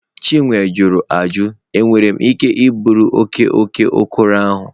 Chinwe jụrụ ajụjụ, enwere m ike iburu oke oke okoro ahụ?